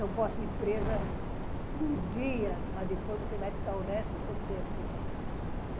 Eu posso ir presa uns dias, mas depois você vai ficar o resto do tempo.